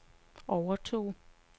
overtog